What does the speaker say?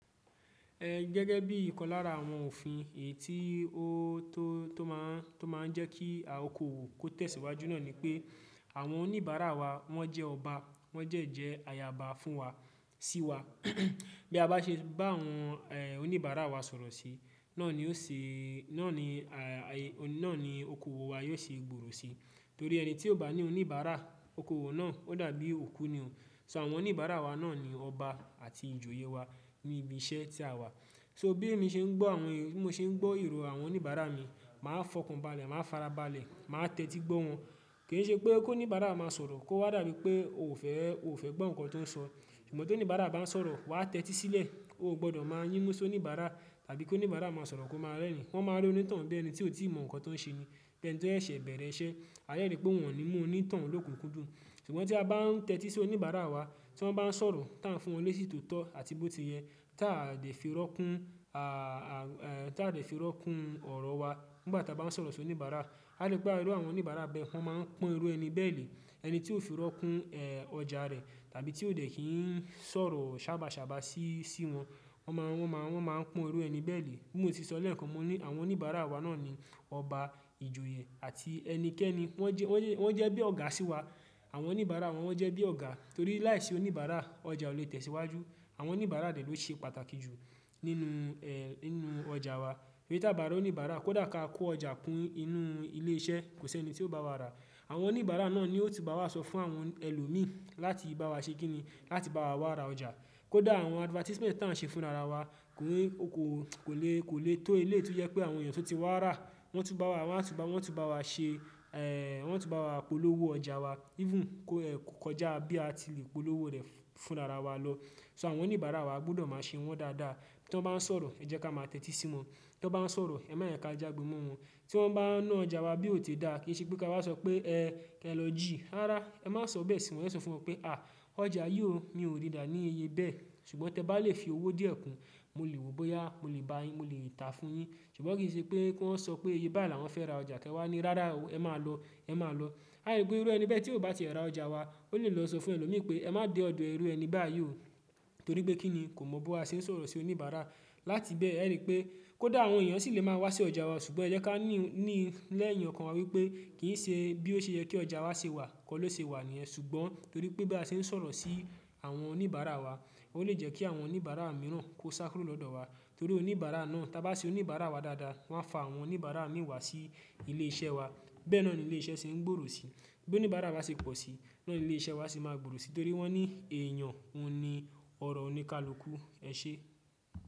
Ẹ gẹ́gẹ́ bí i ìkan lára àwọn òfin èyí tí ó tó máa ń jẹ́ kí okoòwò kó tẹ̀síwájú náà ni pé àwọn oníbàárà wa wọ́n jẹ́ ọba, wọ́n jẹ́ jẹ́ ayaba fún wa, sí wa. Bí a bá ṣe bá àwọn oníbàárà wa sọ̀rọ̀ sí, náà ni ó ṣe, náà ni okoòwò wa yóò ṣe gbòòrò sí. Torí ẹni tí ò bá ní oníbàárà, okoòwò náà ó dàbí òkú ni o. So àwọn oníbàárà wa náà ni ọba àti ìjòyè wa ní ibi iṣẹ́ tí a wà. So bi mi ṣe n gbọ awọn bí mo ṣe ń gbọ́ ìrò àwọn oníbàárà mi, màá fọkàn balẹ̀, màá fara balẹ̀, màá tẹ́tí gbọ́ wọn. Kì í ṣe pé kó ní ìbára máa sọ̀rọ̀, kó wá dàbí pé ò fẹ́ gbọ́ nǹkan tó ń sọ. Ṣùgbọ́n toníbàárà bá ń sọ̀rọ̀, wà á tẹ́tí sílẹ̀, o gbọdọ̀ máa yínmú soníbàárà àbí kóníbàárà máa sọ̀rọ̀ kó máa rẹ́rìn-ín. Wọ́n máa rí onítàn bí ẹni tí ó ti mọ nǹkan tó ń ṣe ni, bí ẹni tí ó ṣẹ̀ bẹ̀rẹ̀ iṣẹ́. A yóò rí pé wọ́n ni mú onítàn ló kú kudù. Ṣùgbọ́n tí a bá ń tẹ́tí sí oníbàárà wa, tí wọ́n bá ń sọ̀rọ̀, tí a ń fún wọn ní èsì tótọ́ àti bó ti yẹ, tí a dẹ fi rọ́kún ọ̀rọ̀ wa nígbà tí a bá ń sọ̀rọ̀ sí oníbàárà, a lè pe irú àwọn oníbàárà bẹ́ẹ̀, wọ́n máa ń pọ́n irú ẹni bẹ́ẹ̀ lè. Ẹni tí ò fi rọ́kún ọjà rẹ̀ tàbí tí ó ò dẹ̀ kí ń sọ̀rọ̀ sábà sábà sí wọn, wọ́n máa ń pọ́n irú ẹni bẹ́ẹ̀ lè. Bi mo ti sọ lẹ́ẹ̀kan, àwọn oníbàárà wa náà ni ọba, ìjòyè àti ẹnikẹ́ni. Wọ́n jẹ́ bí ọ̀gá sí wa. Àwọn oníbàárà wa wọ́n jẹ́ bí ọ̀gá torí láìsí oníbàárà ọjà ò lè tẹ̀síwájú. Àwọn oníbàárà dẹ̀ ló ṣe pàtàkì jù nínú ọjà wa. Bí tá bá rí oníbàárà kò dà ká kó ọjà kún inú ilé iṣẹ́, kò sí ẹni tí ó bá wa rà. Àwọn oníbàárà náà ni ó ti bá wa sọ fún àwọn ẹlòmíí láti bá wa ṣe kí ni, láti bá wa wá ra ọjà. Kódà àwọn advertisement taun ṣe fún ara wa kò lè tó eléèti yẹ pé àwọn èèyàn tó ti wá rà, wọ́n á tú bá wa ṣe, wọ́n á tú bá wa polówó ọjà wa. Even kó kọjá bí a ti lè polówó rẹ̀ fún ara wa lọ. So àwọn oníbàárà wa gbọdọ̀ máa ṣe wọ́n dáadáa. Tí wọ́n bá ń sọ̀rọ̀, ẹ jẹ́ ká máa tẹ́tí sí wọn. Tí wọ́n bá ń sọ̀rọ̀, ẹ má ẹ ká jágbe mọ́ wọn. Tí wọ́n bá ń ná ọjà wa bí ò té dá, kì í ṣe pé ká wáa sọ pé ẹ lọ jì. Rárá, ẹ má sọ bẹ́ẹ̀ sí wọn. Wọ́n yóò sọ fún ọ pé à, ọjà yìí o, mi ò rí dà ní iye bẹ́ẹ̀. Ṣùgbọ́n tí ẹ bá lè fi owó díẹ̀ kún, mo lè wò ó bóyá mo lè bá yín, mo lè tàá fún yín. Ṣùgbọ́n kì í ṣe pé kí wọ́n sọ pé iye bá làwọn fẹ́ ra ọjà kí ẹ wá ní rárá o, ẹ máa lọ, ẹ máa lọ. Aibu irú ẹni bẹ́ẹ̀ tí ó bá ti ẹ rà ọjà wa, ó lè lọ sọ fún ẹlòmíí pé ẹ má de ọ̀dọ̀ irú ẹni báyìí o. Torí pé kí ni kò mọ bó a ṣe ń sọ̀rọ̀ sí oníbàárà. Láti bẹ́ẹ̀, ẹ rí pé kó dà àwọn èèyàn sì lè máa wá sí ọjà wa, ṣùgbọ́n ẹ jẹ́ ká ní lẹ́yìn ọkàn wa wípé kì í ṣe bí ó ṣe yẹ́ kí ọjà wa ṣe wà, kọ́ ló ṣe wà ní ẹ. Ṣùgbọ́n torí pé bí a ṣe ń sọ̀rọ̀ sí àwọn oníbàárà wa, ó lè jẹ́ kí àwọn oníbàárà mìíràn kó sá kúrò lọ́dọ̀ wa. Torí oníbàárà náà tí a bá sé oníbàárà wa dáadáa, wọ́n á fa àwọn oníbàárà mìíràn wá sí ilé iṣẹ́ wa. Bẹ́ẹ̀ náà ni ilé iṣẹ́ ṣe ń gbòòrò sí. Bí oníbàárà bá ṣe pọ̀ sí, bẹ́ẹ̀ ni ilé iṣẹ́ wa ṣe máa gbòòrò sí torí wọ́n ní èèyàn, òun ni ọrọ̀ oníkálukú. Ẹ ṣé.